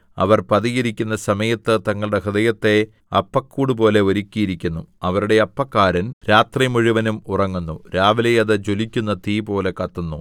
അവർ പതിയിരിക്കുന്ന സമയത്ത് തങ്ങളുടെ ഹൃദയത്തെ അപ്പക്കൂടുപോലെ ഒരുക്കിയിരിക്കുന്നു അവരുടെ അപ്പക്കാരൻ രാത്രിമുഴുവനും ഉറങ്ങുന്നു രാവിലെ അത് ജ്വലിക്കുന്ന തീപോലെ കത്തുന്നു